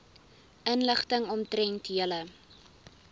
inligting omtrent julle